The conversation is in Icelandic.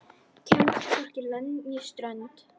Kemst hvorki lönd né strönd.